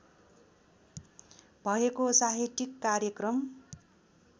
भएको साहित्यिक कार्यक्रम